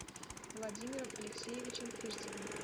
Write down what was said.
владимиром алексеевичем фирсовым